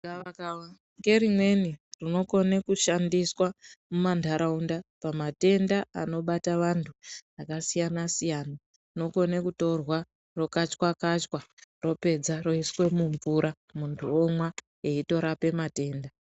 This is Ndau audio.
Gavakava ngerimweni rinokone kushandiswa mumanharaunda pamatenda anobata vanthu akasiyana -siyana, rinokone kutorwa rokachwa -kachwa ropedza roiswe mumvura munthu omwa eitorape matenda.